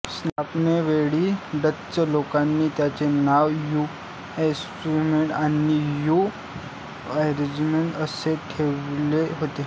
स्थापनेवेळी Dutch लोकांनी त्याचे नाव न्यू एमस्टरडॅम आणि न्यू ऑरेंज असे ठेवले होते